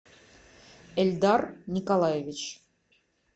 эльдар николаевич